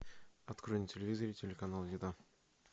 открой на телевизоре телеканал еда